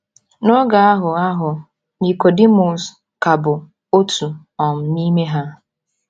N’oge ahụ ahụ, Nikọdimọs ka bụ “ otu um n’ime ha. ”